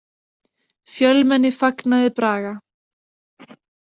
Fjölmenni fagnaði Braga